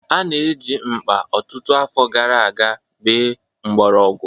A na-eji mkpa ọtụtụ afọ gara aga bee mgborogwu.